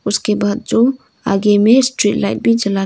उसके बाद जो आगे में स्ट्रेट लाइट भी जला--